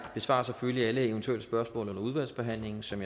besvarer selvfølgelig alle eventuelle spørgsmål under udvalgsbehandlingen som